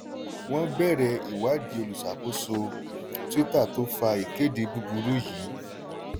wọ́n bẹ̀rẹ̀ ìwádìí olùṣàkóso twitter tó fa ìkéde búburú yìí.